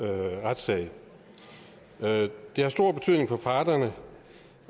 retssag det har stor betydning for parterne